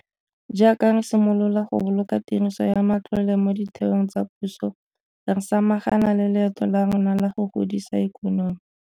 Jaaka re simolola go boloka tiriso ya matlole mo ditheong tsa puso, re samagana le leeto la rona la go godisa ikonomi.